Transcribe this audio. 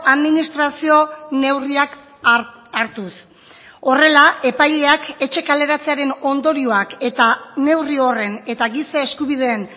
administrazio neurriak hartuz horrela epaileak etxe kaleratzearen ondorioak eta neurri horren eta giza eskubideen